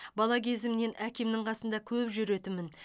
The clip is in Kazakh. бала кезімнен әкемнің қасында көп жүретінмін